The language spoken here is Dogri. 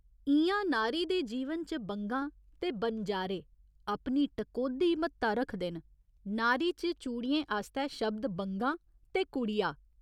इ'यां नारी दे जीवन च बंगा ते बनजारे अपनी टकोह्दी म्हत्ता रखदे न, नारी च चूड़ियें आस्तै शब्द बंगा ते कुड़िया।